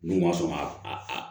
N'u ma sɔn ka a